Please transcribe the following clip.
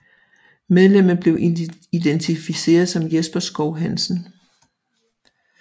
Medlemmet blev identificeret som Jesper Schou Hansen